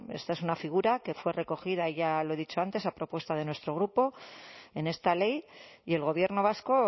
esta es una figura que fue recogida ya lo dicho antes a propuesta de nuestro grupo en esta ley y el gobierno vasco